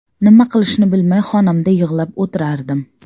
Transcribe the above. Nima qilishni bilmay, xonamda yig‘lab o‘tirardim.